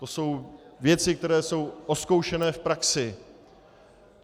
To jsou věci, které jsou vyzkoušené v praxi.